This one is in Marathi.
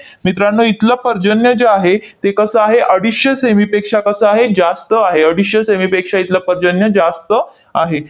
मित्रांनो, इथलं पर्जन्य जे आहे, ते कसं आहे? अडीचशे से. मी. पेक्षा कसं आहे? जास्त आहे. अडीचशे से. मी. पेक्षा इथलं पर्जन्य जास्त आहे.